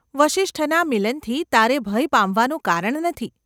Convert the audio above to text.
વસિષ્ઠના મિલનથી તારે ભય પામવાનું કારણ નથી.